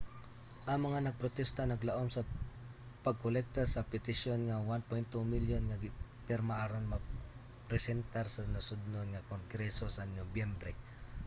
ang mga nagprotesta naglaom sa pagkolekta sa petisyon nga 1.2 milyon nga pirma aron mapresentar sa nasudnon nga kongreso sa nobyembre